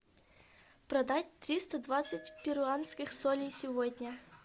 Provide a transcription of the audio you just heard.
продать триста двадцать перуанских солей сегодня